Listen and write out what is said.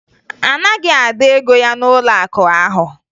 A naghị Ada ego ya n'ụlọakụ ahụ